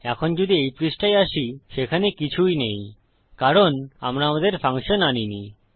এখন যদি এই পৃষ্ঠায় আসিসেখানে কিছুই নেই কারণ আমরা আমাদের ফাংশন আনিনি